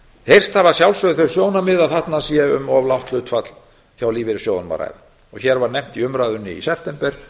heyrst hafa að sjálfsögðu þau sjónarmið að þarna sé um of lágt hlutfall hjá lífeyrissjóðunum að ræða hér var nefnt í umræðunni í september